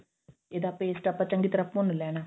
ਇਹਦਾ paste ਆਪਾਂ ਚੰਗੀ ਤਰਾਂ ਭੁੰਨ ਲੈਣਾ